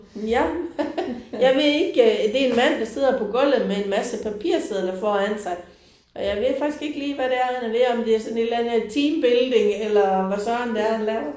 Ja. Jeg ved ikke det er en mand der sidder på gulvet med en masse papirsedler foran sig og jeg ved faktisk ikke lige hvad det er han er ved om det er sådan et eller andet teambuilding eller hvad Søren det er han laver